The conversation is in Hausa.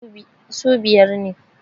su biyar ne